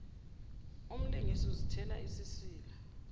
umlungisi uzithela isisila